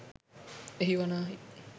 එය වනාහි